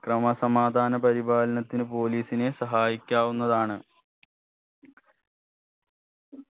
ക്രമസമാധാന പരിപാലനത്തിന് police നെ സഹായിക്കാവുന്നതാണ്